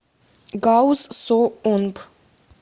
гауз со онб